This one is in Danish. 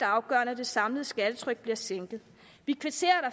afgørende at det samlede skattetryk bliver sænket vi kvitterer